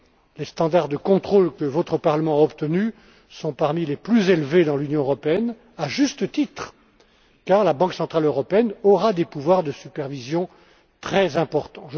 les standards de contrôle que votre Parlement a obtenus sont parmi les plus élevés dans l'Union européenne, à juste titre, car la Banque centrale européenne aura des pouvoirs de supervision très importants.